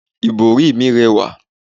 ibori mi rẹwa